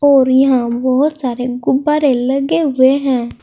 और यहां बहुत सारे गुब्बारे लगे हुए हैं।